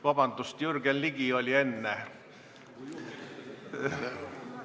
Vabandust, Jürgen Ligi oli enne!